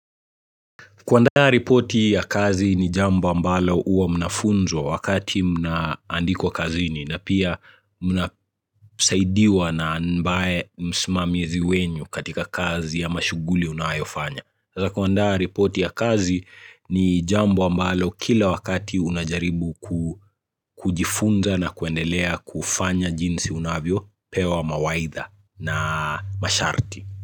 Kuandaa ripoti ya kazi ni jambo ambalo huwa mnafunzwa wakati mnaandikwa kazini na pia mnasaidiwa na ambaye msmamizi wenyu katika kazi ama shughuli unayo fanya. Kuandaa ripoti ya kazi ni jambo ambalo kila wakati unajaribu kujifunza na kuendelea kufanya jinsi unavyo pewa mawaidha na masharti.